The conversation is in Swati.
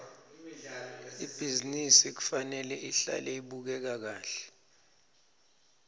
ibhizinisi kufanele ihlale ibukeka kahle